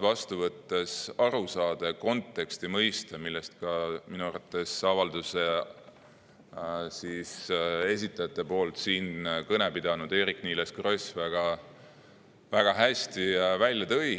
vastu võttes muidugi tähtis aru saada kontekstist, mõista seda, mille minu arvates avalduse esitajate nimel kõne pidanud Eerik-Niiles Kross väga hästi välja tõi.